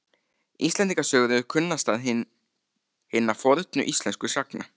Íslendingasögur eru kunnastar hinna fornu íslensku sagna.